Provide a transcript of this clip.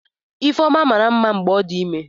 Ifeoma mara mma mgbe ọ dị ime.